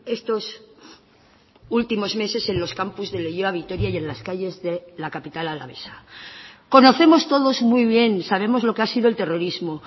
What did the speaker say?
estos últimos meses en los campus de leioa vitoria y en las calles de la capital alavesa conocemos todos muy bien sabemos lo que ha sido el terrorismo